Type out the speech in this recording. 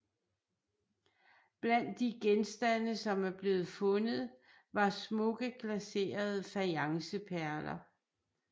Blandt de genstande som er blevet fundet var smukke glaserede fajanceperler